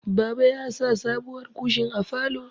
Baba ya sa sabuwar kushin a falo